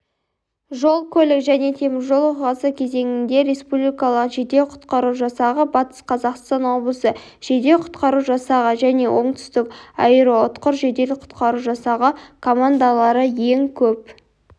жол-көлік және теміржол оқиғасы кезеңінде республикалық жедел-құтқару жасағы батыс қазақстан облысы жедел-құтқару жасағы және оңтүстік аэроұтқыр жедел-құтқару жасағы командалары ең көп